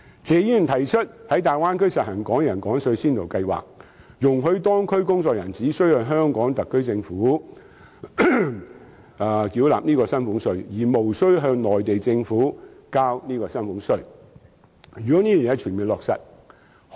謝議員提出"爭取在大灣區實行'港人港稅'先導計劃，容許在當區工作的香港人，只須向香港特區政府繳納薪俸稅，而無須向內地政府繳交薪俸稅"。